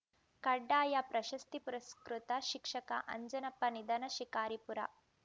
ಕಡ್ಡಾಯ ಪ್ರಶಸ್ತಿ ಪುರಸ್ಕೃತ ಶಿಕ್ಷಕ ಅಂಜನಪ್ಪ ನಿಧನ ಶಿಕಾರಿಪುರ